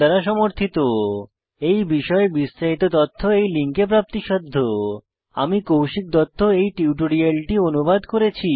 এই বিষয়ে বিস্তারিত তথ্য এই লিঙ্কে প্রাপ্তিসাধ্য spoken hyphen tutorial dot org slash NMEICT hyphen intro আমি কৌশিক দত্ত এই টিউটোরিয়ালটি অনুবাদ করেছি